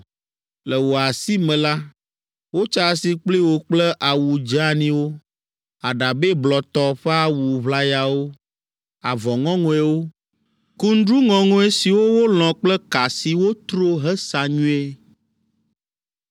Le wò asi me la, wotsa asi kpli wò kple awu dzeaniwo, aɖabɛ blɔtɔ ƒe awu ʋlayawo, avɔ ŋɔŋɔewo, kundru ŋɔŋɔe siwo wolɔ̃ kple ka si wotro hesa nyuie.